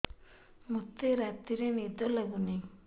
ମୋତେ ରାତିରେ ନିଦ ଲାଗୁନି